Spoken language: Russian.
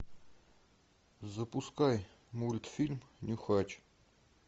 запускай мультфильм нюхач